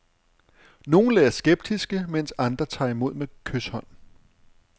Nogle er skeptiske, mens andre tager imod med kyshånd.